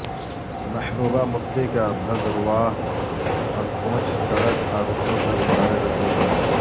محبوبہ مفتی کا بھدرواہ اور پونچھ سڑک حادثوں پر اظہار رنج و غم